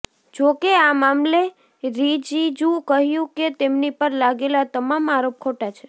જો કે આ મામલે રિજિજૂ કહ્યું કે તેમની પર લાગેલા તમામ આરોપ ખોટા છે